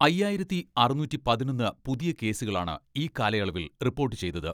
അയ്യായിരത്തി അറുനൂറ്റി പതിനൊന്ന് പുതിയ കേസുകളാണ് ഈ കാലയളവിൽ റിപ്പോർട്ട് ചെയ്തത്.